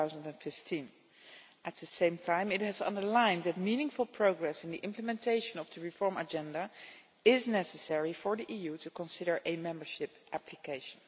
2015. At the same time, it has underlined that meaningful progress in the implementation of the reform agenda is necessary for the EU to consider a membership application.